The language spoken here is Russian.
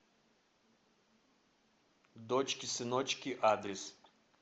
дочки сыночки адрес